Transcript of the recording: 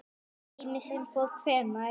Heimir: Sem að fór hvenær?